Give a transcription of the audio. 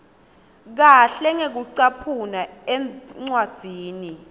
kahle ngekucaphuna encwadzini